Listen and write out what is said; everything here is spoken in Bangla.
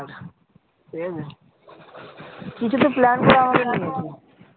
কিছুতো